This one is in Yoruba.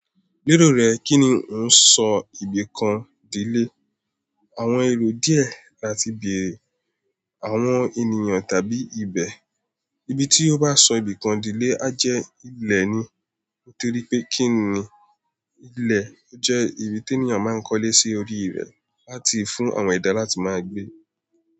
Lérò rẹ kín ni ó n sọ ibìkan dílè? Àwọn èrò dìẹ láti bèèrè àwọn ènìyàn tàbí ibẹ̀. Ibi tí ó bá sọ ibìkan dílè a jẹ́ ilẹ̀ ni. Mo ti rí pé kín ni ilẹ̀, ó jẹ́ ibi tí ènìyàn máa ń kólé sí orí rẹ̀ láti fún àwọn edá láti máa gbé.